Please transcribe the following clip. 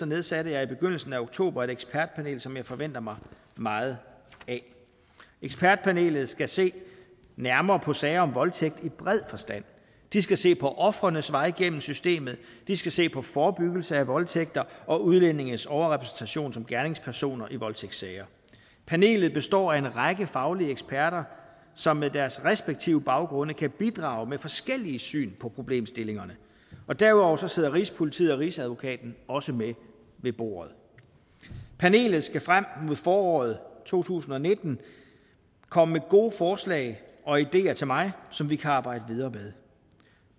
nedsatte jeg i begyndelsen af oktober et ekspertpanel som jeg forventer mig meget af ekspertpanelet skal se nærmere på sager om voldtægt i bred forstand de skal se på ofrenes vej igennem systemet de skal se på forebyggelse af voldtægt og udlændinges overrepræsentation som gerningspersoner i voldtægtssager panelet består af en række faglige eksperter som med deres respektive baggrunde kan bidrage med forskellige syn på problemstillingerne og derudover sidder rigspolitiet og rigsadvokaten også med ved bordet panelet skal frem mod foråret to tusind og nitten komme med gode forslag og ideer til mig som vi kan arbejde videre med